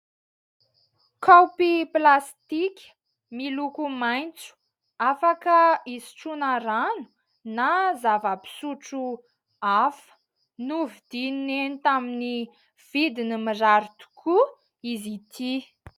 Kaopy plastika miloko maitso afaka hisotroana rano na zava-pisotro hafa novidian'ny neny tamin'ny vidiny mirary tokoa izy ity.